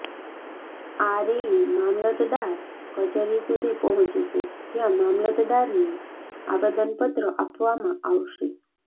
આ રેલી મામલતદાર કચેરી સુધી પહોંચશે જ્યાં મામલતદારને આવેદનપત્ર આપવામાં આવશે